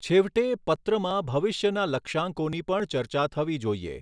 છેવટે, પત્રમાં ભવિષ્યના લક્ષ્યાંકોની પણ ચર્ચા થવી જોઈએ.